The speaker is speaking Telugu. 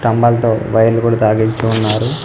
స్తంభాలతో వైర్లు కూడా తగిలించి ఉన్నారు.